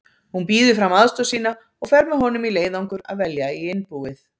Hún býður fram aðstoð sína og fer með honum í leiðangur að velja í innbúið